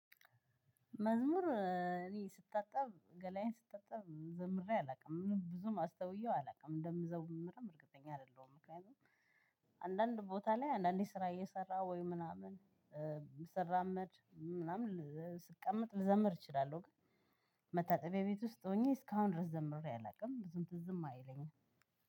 መዝሙር እኔ ስታጠብ ገላዬን ስታጠብ ዘምሬ አላውቅም ብዙም አስተውየው አላውቅም እንደምዘምርም እርግጠኛ አይደለሁም ምክንያቱም አንዳንድ ቦታ ላይ አንዳንዴ ስራ እየሰራ ወይ ምናምን ስራመድ ምናምን ስቀመጥ ልዘምር እችላለሁ። መታጠቢያ ቤት ውስጥ ሆኜ እስካሁን ድረስ ዘምሬ አላውቅም ብዙም ትዝም አይለኝም።